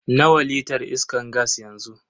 Nawa litar iskan gas yanzu?